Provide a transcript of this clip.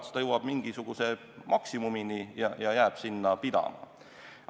Siis ta jõuab mingisuguse maksimumini ja jääb sinna pidama.